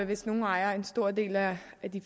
hvis nogle ejede en stor del af